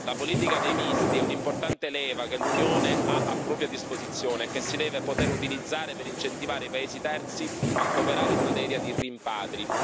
La politica dei visti è un'importante leva che l'Unione ha a propria disposizione e che si deve poter utilizzare per incentivare i paesi terzi a cooperare in materia di rimpatri.